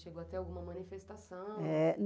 Chegou até alguma manifestação?